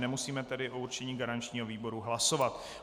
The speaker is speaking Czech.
Nemusíme tedy o určení garančního výboru hlasovat.